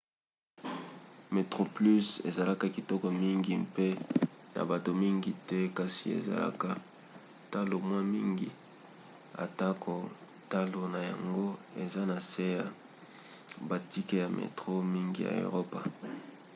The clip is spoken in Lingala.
metroplus ezalaka kitoko mingi mpe na bato mingi te kasi ezalaka talo mwa mingi atako talo na yango eza na se ya batike ya metro mingi ya eropa